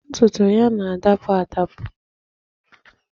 Ntutu ya na-adapụ adapụ